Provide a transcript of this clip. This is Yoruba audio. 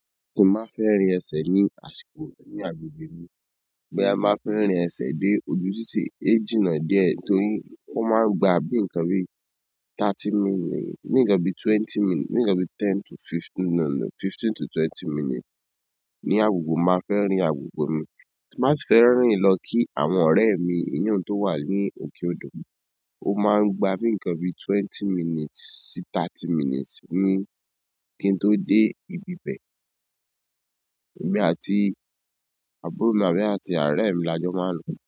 Tí máa fẹ́ rìn ẹsẹ̀ ní àsìkò ní agbègbè mi, boya ti n bá fẹ́ rìn ẹsẹ̀ dé ojúṣè é jìnnà díẹ̀ torí ó máa ń gba bí nǹkan bí thirty minutes, ní ǹkan bí twenty minutes, ní ǹkan bí ten to fifteen, no, no, fifteen to twenty minutes. Ní agogo máa fẹ́ rìn agogo mi, má sì fẹ́ rìn lọ kí àwọn ọ̀rẹ́ mi, iyen tó wà ní òkè odò mi. Ó máa ń gba bí nǹkan bí twenty minutes sí thirty minutes ní kí n tó dé ibi bẹ́ẹ̀. Èmi àti àbúrò mi àbí àti orẹ̀mi la jọ máa ń ló.